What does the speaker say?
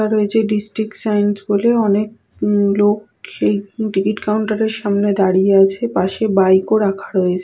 এটা রয়েছে district science বলে অনেক লোক এই টিকিট কাউন্টার এর সামনে দাঁড়িয়ে আছে পাশে বাইক ও রয়েছে।